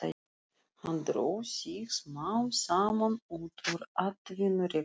Hann dró sig smám saman út úr atvinnurekstri.